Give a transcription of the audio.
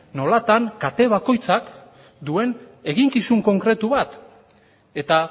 nolatan kate bakoitzak duen eginkizun konkretu bat eta